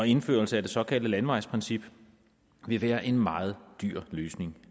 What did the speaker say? indførelse af det såkaldte landevejsprincip vil være en meget dyr løsning